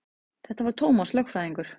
Þetta var Tómas lögfræðingur.